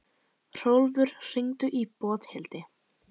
Hrólfur, hringdu í Bóthildi.